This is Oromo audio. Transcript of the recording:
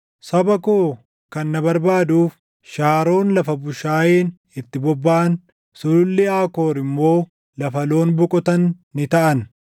Saba koo kan na barbaaduuf Shaaroon lafa bushaayeen itti bobbaʼan, Sululli Aakoor immoo lafa loon boqotan ni taʼan.